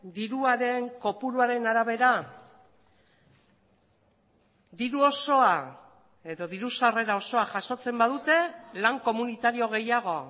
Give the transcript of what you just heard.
diruaren kopuruaren arabera diru osoa edo diru sarrera osoa jasotzen badute lan komunitario gehiago